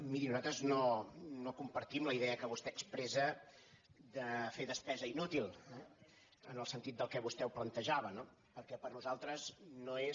miri nosaltres no com·partim la idea que vostè expressa de fer despesa inú·til eh en el sentit del que vostè plantejava no per·què per nosaltres no és